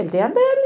Ele tem a dele.